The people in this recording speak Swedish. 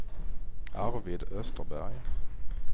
Arvid Österberg